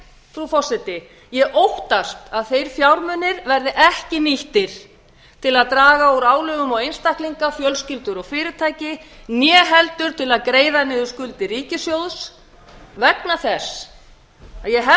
frú forseti ég óttast að þeir fjármunir verði ekki nýttir til að draga úr álögum á einstaklinga fjölskyldur og fyrirtæki né heldur til að greiða niður skuldir ríkissjóðs vegna þess að ég hef